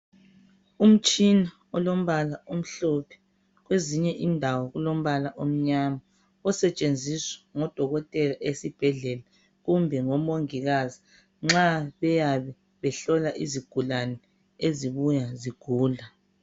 Umtshina olombala omhlophe. Kwezinye indawo ulombala omnyama. Osetshenziswa ngodokotela esibhedlela, kumbe ngomongikazi nxa beyabe behlola izigulane ezibuya zigula.